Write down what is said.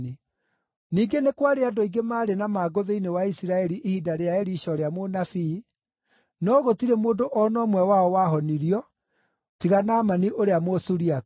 Ningĩ nĩ kwarĩ andũ aingĩ maarĩ na mangũ thĩinĩ wa Isiraeli ihinda rĩa Elisha ũrĩa mũnabii, no gũtirĩ mũndũ o na ũmwe wao wahonirio tiga Naamani ũrĩa Mũsuriata.”